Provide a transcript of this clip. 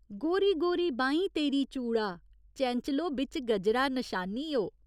गोरी गोरी बाहीं तेरी चूड़ा, चैंचलो बिच्च गजरा नशानी ओ।